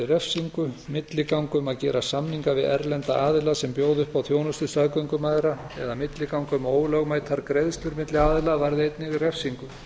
refsingu milliganga um að gera samninga við erlenda aðila sem bjóða upp á þjónustu staðgöngumæðra eða milliganga um ólögmætar greiðslur milli aðila varði einnig refsingu